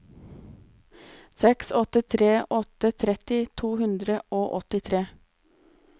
seks åtte tre åtte tretti to hundre og åttitre